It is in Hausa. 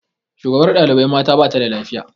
Shugabar ɗaibai mata bata da lafiya